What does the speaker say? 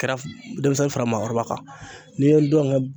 Kɛra denmisɛnnin fara maakɔrɔba kan n'i ye ngɔngɛ